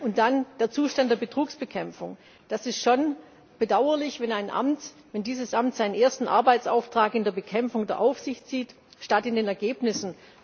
Und dann der Zustand der Betrugsbekämpfung Das ist schon bedauerlich, wenn dieses Amt seinen ersten Arbeitsauftrag in der Bekämpfung der Aufsicht sieht statt in den Ergebnissen.